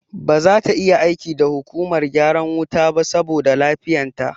Ba zata iya aiki da hukumar gyaran wuta ba saboda lafiyan ta